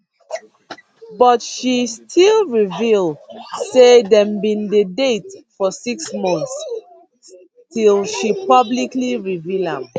but she still reveal say dem bin dey date for six months till she publicly reveal am